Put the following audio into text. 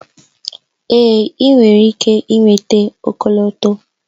Èé! ị nwere ike nweta ọkọlọtọ.